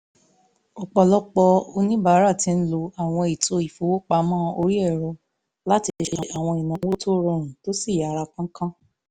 ọ̀pọ̀lọpọ̀ oníbàárà ti ń lo àwọn ètò ìfowópamọ́ orí ẹ̀rọ láti ṣe àwọn ìnáwó tó rọrùn tó sì yára kánkán